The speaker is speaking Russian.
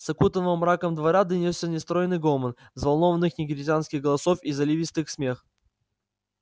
с окутанного мраком двора донёсся нестройный гомон взволнованных негритянских голосов и заливистый смех